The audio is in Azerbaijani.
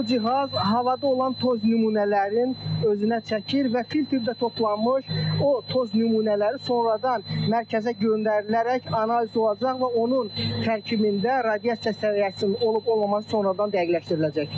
Bu cihaz havada olan toz nümunələrin özünə çəkir və filtrdə toplanmış o toz nümunələri sonradan mərkəzə göndərilərək analiz olunacaq və onun tərkibində radiasiya səviyyəsinin olub-olmaması sonradan dəqiqləşdiriləcək.